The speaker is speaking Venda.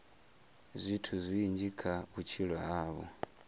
zwithu zwinzhi kha vhutshilo havho